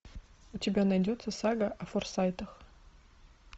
у тебя найдется сага о форсайтах